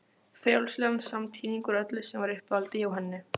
Frjálslegan samtíning úr öllu sem var í uppáhaldi hjá henni.